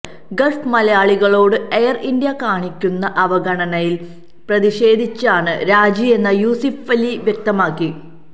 Gulf മലയാളികളോട് Air India കാണിക്കുന്ന അവഗണനയില് പ്രതിഷേധിച്ചാണ് രാജിയെന്ന് യൂസഫലി വ്യക്തമാക്കി